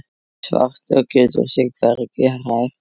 Svartur getur sig hvergi hrært.